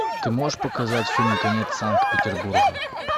ты можешь показать фильм конец санкт петербурга